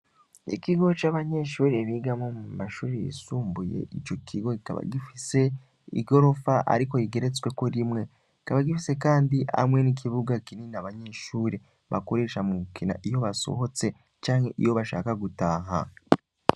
Ikigo c'abanyeshure bigamwo mu mashuri yisumbuye, ico kigo kikaba gifise igorofa ariko igeretsweko rimwe. kikaba gifise Kandi hamwe n'ikibuga kinini abanyeshure bakoresha mugukina iyo basohotse canke iyo bashaka gutaha.